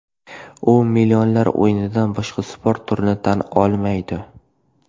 U millionlar o‘yinidan boshqa sport turini tan olmaydi.